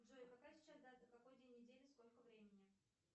джой какая сейчас дата какой день недели сколько времени